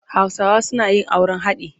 Hausawa suna yin auren haɗi.